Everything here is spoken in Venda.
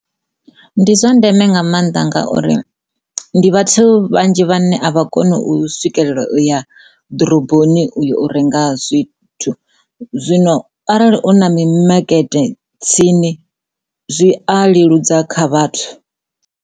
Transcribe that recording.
Ndi zwa ndeme nga mannḓa ngauri ndi vhathu vhanzhi vhane a vha koni u swikelela u ya ḓoroboni u ya u renga zwithu zwino arali u na mimakete tsini zwi a leludza kha vhathu.